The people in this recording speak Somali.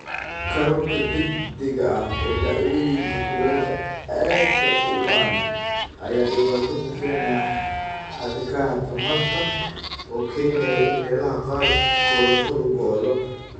Korodhka degdega ah ee dhacdooyinka kulaylka aadka u ba'an ayaa dhibaato ku keenaya xadhkaha tamarta oo keenaya in meelaha qaar korontadu go'do.